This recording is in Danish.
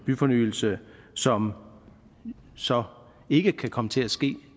byfornyelse som så ikke kan komme til at ske